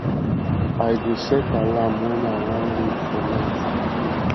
i dey set alarm wen i wan read for night